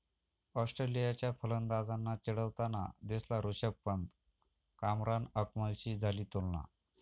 ऑस्ट्रेलियाच्या फलंदाजांना चिढवताना दिसला ऋषभ पंत, कामरान अकमलशी झाली तुलना